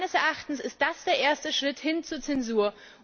Meines Erachtens ist das der erste Schritt hin zur Zensur.